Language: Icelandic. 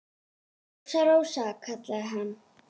Rósa, Rósa, kallaði hann.